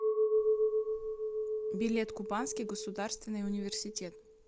билет кубанский государственный университет